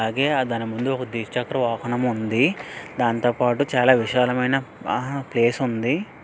అదే ఆ దాని ముందు ద్విచక్ర వాహనం ఉంది దాంతోపాటు చాలా విశాలమైన ఆ ప్లేస్ ఉంది.